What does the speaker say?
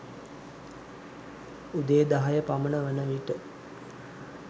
උදේ දහය පමණ වනවිට